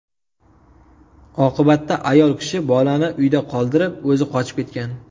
Oqibatda ayol kishi bolani uyda qoldirib o‘zi qochib ketgan.